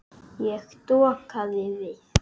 Ég dokaði við.